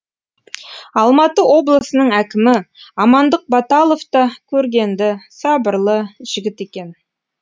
алматы облысының әкімі амандық баталов та көргенді сабырлы жігіт екен